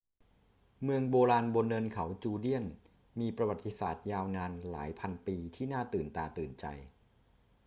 เมืองโบราณบนเนินเขาจูเดียนมีประวัติศาสตร์ยาวนานหลายพันปีที่น่าตื่นตาตื่นใจ